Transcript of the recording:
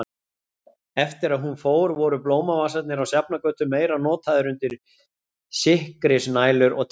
Eftir að hún fór voru blómavasarnir á Sjafnargötu meira notaðir undir sikkrisnælur og teygjur.